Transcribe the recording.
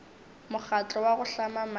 mokgatlo wa go hlama maemo